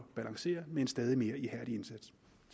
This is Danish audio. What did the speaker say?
balancere med en stadig mere ihærdig indsats